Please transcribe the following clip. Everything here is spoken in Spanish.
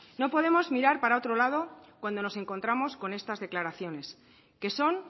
no podemos mirar para otro lado cuando nos encontramos con estas declaraciones que son